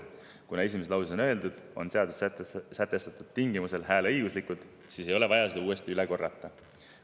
Kuna esimeses lauses on öeldud "… on seaduses sätestatud tingimustel hääleõiguslikud …", siis ei ole vaja seda uuesti üle korrata.